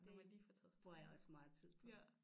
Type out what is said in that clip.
Dét bruger jeg også meget tid på